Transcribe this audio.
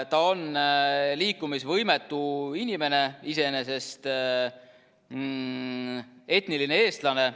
Ta on liikumisvõimetu inimene, etniline eestlane.